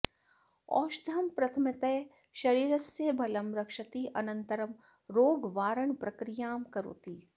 औषधम् प्रथमतः शरीरस्य बलं रक्षति अनन्तरं रोगवारणप्रक्रियां करोति